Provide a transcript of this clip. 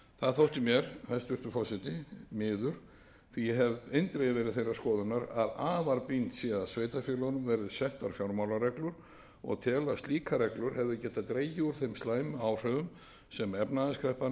það þótti mér hæstvirtur forseti miður því ég hef eindregið verið þeirrar skoðunar að afar brýnt sé að sveitarfélögunum verði settar fjármálareglur og tel að slíkar reglur hefðu getað dregið úr þeim slæmu áhrifum sem efnahagskreppan hefur